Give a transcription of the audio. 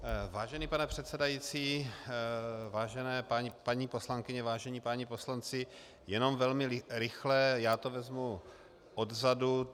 Vážený pane předsedající, vážené paní poslankyně, vážení páni poslanci, jen velmi rychle, já to vezmu odzadu.